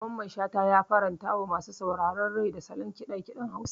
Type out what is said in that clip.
Mamman Shata ya farantawa masu saurare rai da salon ƙiɗa ƙiɗen Hausa.